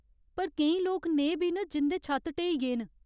पर केईं लोक नेह् बी न जिं'दे छत्त ढ्‌हेई गे न।